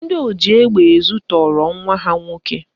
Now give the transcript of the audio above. Ndị oji egbe ezu tọọrọ nwa ha nwoke